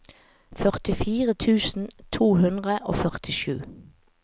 førtifire tusen to hundre og førtisju